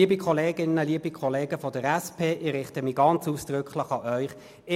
Liebe Kolleginnen und Kollegen von der SP, ich richte mich ausdrücklich an Sie: